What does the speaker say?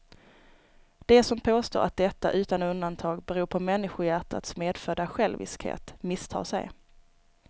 De som påstår att detta utan undantag beror på människohjärtats medfödda själviskhet misstar sig.